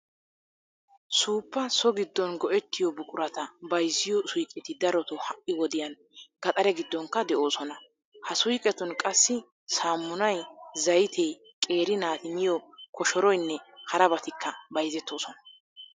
Suuppa so giddon go"ettiyo buqurata bayziyo suyqeti darotoo ha"i wodiyan gaxare giddonkka de'oosona. Ha suyqetun qassi saammunay, zaytee qeeri naati miyo koshoroynne harabatikka bayzettoosona.